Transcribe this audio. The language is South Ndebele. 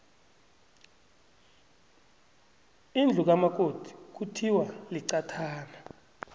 indlu kamakoti kuthiwa liqathana